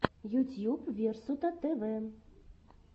ютьюб версутатэвэ